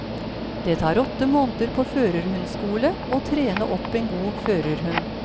Det tar åtte måneder på førerhundskole å trene opp en god førerhund.